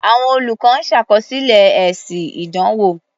Àwọn olùkọ́ ń ṣàkọsílẹ̀ èsì ìdánwò.